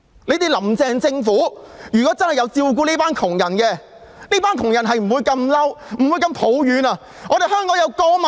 倘若"林鄭"政府真的有顧及這些窮人的話，他們便不會如此生氣和抱怨了。